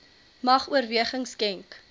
mag oorweging skenk